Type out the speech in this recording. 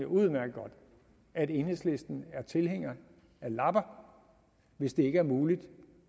udmærket godt at enhedslisten er tilhænger af lapper hvis det ikke er muligt